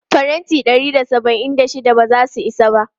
Faranti ɗari da saba'in da shida ba za su isa ba.